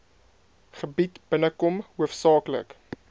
gebied binnekom hoofsaaklik